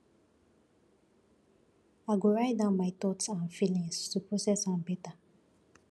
i go write down my thoughts and feelings to process am better